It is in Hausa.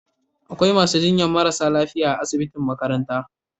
Akwai masu jinyar marasa lafiya a asibitin makarantan.